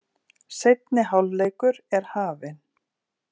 Seinni hálfleikur er hafinn